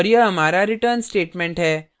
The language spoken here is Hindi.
और यह हमारा return statement है